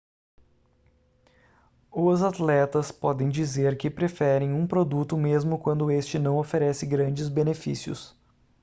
os atletas podem dizer que preferem um produto mesmo quando este não oferece grandes benefícios